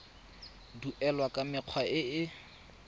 duelwa ka mekgwa e e